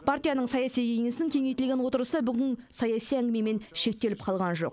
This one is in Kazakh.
партияның саяси кеңесінің кеңейтілген отырысы бүгін саяси әңгімемен шектеліп қалған жоқ